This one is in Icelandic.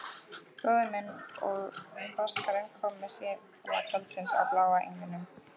Bróðir minn og Braskarinn koma síðla kvölds á Bláa englinum.